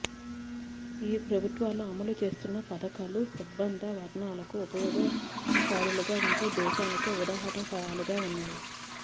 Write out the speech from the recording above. ఈ ప్రభుత్వాలు అమలు చేస్తున్న పధకాలు సబ్బండ వర్ణాలకు ఉపయోగకారులుగా ఉంటూ దేశానికే ఉదాహరణ ప్రాయాలుగా ఉన్నాయి